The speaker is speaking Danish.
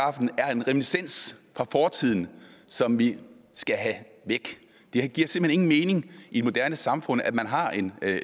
en reminiscens fra fortiden som vi skal have væk det giver simpelt hen ingen mening i et moderne samfund at man har en